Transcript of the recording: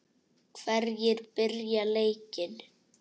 Hverjir byrja leikinn?